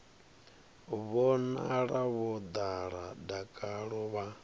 vhonala vho ḓala dakalo vha